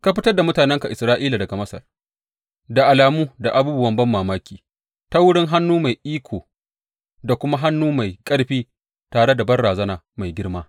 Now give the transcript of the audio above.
Ka fitar da mutanenka Isra’ila daga Masar da alamu da abubuwa banmamaki, ta wurin hannu mai iko da kuma hannu mai ƙarfi tare da banrazana mai girma.